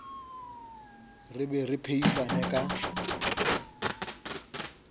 re be re phehisane ka